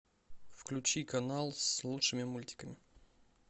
включи канал с лучшими мультиками